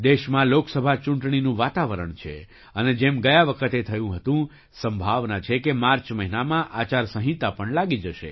દેશમાં લોકસભા ચૂંટણીનું વાતાવરણ છે અને જેમ ગયા વખતે થયું હતું સંભાવના છે કે માર્ચ મહિનામાં આચાર સંહિતા પણ લાગી જશે